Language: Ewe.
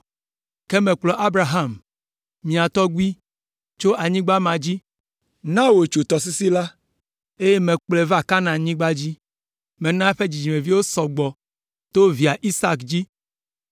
Ke mekplɔ Abraham, mia tɔgbui, tso anyigba ma dzi, na wòtso tɔsisi la, eye mekplɔe va Kanaanyigba dzi. Mena eƒe dzidzimeviwo sɔ gbɔ to via Isak dzi.